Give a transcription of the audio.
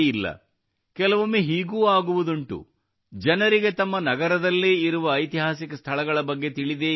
ಕೆಲವೊಮ್ಮೆ ಹೀಗೂ ಆಗುವುದುಂಟು ಜನರಿಗೆ ತಮ್ಮ ನಗರದಲ್ಲೇ ಇರುವ ಐತಿಹಾಸಿಕ ಸ್ಥಳಗಳ ಬಗ್ಗೆ ತಿಳಿದೇ ಇರುವುದಿಲ್ಲ